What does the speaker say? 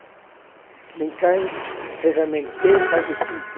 O mecânico ferramenteiro faz de tudo.